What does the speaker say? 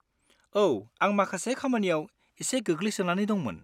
औ! आं माखासे खामानियाव एसे गोग्लैसोनानै दंमोन।